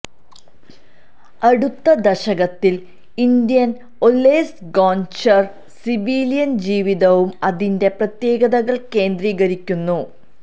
അടുത്ത ദശകത്തിൽ ഇന്ത്യൻ ഒലെസ് ഗൊന്ഛര് സിവിലിയൻ ജീവിതവും അതിന്റെ പ്രത്യേകതകൾ കേന്ദ്രീകരിക്കുന്നു